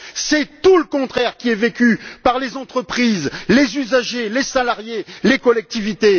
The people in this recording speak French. C'est tout le contraire qui est vécu par les entreprises, les usagers, les salariés, les collectivités!